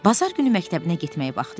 Bazar günü məktəbinə getməyi vaxtı idi.